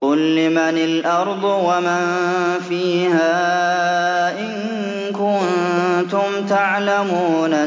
قُل لِّمَنِ الْأَرْضُ وَمَن فِيهَا إِن كُنتُمْ تَعْلَمُونَ